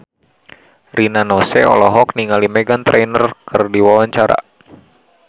Rina Nose olohok ningali Meghan Trainor keur diwawancara